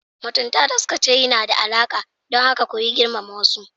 Mutunta da suka ce yana da alaƙa, don haka koyi girmama wasu.